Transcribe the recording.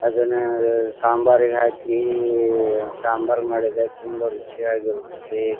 ಅದನ್ನ ಸಾಂಬಾರ್ಗೆ ಹಾಕಿ ಈ ಸಾಂಬಾರ್ ಮಾಡಿದರೆ ತುಂಬ ರುಚಿಯಾಗಿ ಇರುತ್ತೆ .